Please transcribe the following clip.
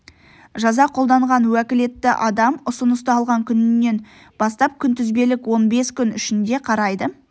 жаза қолданған уәкілетті адам ұсынысты алған күнінен бастап күнтізбелік он бес күн ішінде қарайды